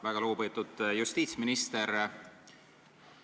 Väga lugupeetud justiitsminister!